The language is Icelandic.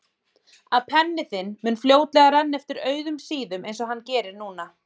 Að penni þinn mun fljótlega renna eftir auðum síðum einsog hann gerir núna.